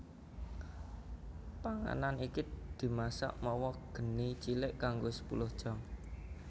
Panganan iki dimasak mawa geni cilik kanggo sepuluh jam